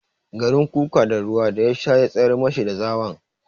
Garin kuka da ruwa da ya sha ya tsayar mashi da zawon.